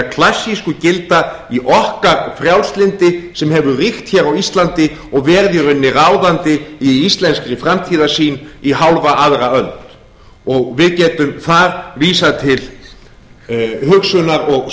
klassísku gilda í okkar frjálslyndi sem hefur ríkt hér á íslandi og verið í rauninni ráðandi í íslenskri framtíðarsýn í hálfa aðra öld við getum þar vísað til hugsunar og